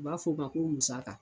U b'a fɔ ma ko musaka.